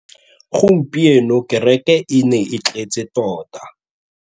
Gompieno kêrêkê e ne e tletse tota.